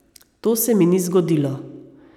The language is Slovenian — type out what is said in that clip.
To se mi ni zgodilo.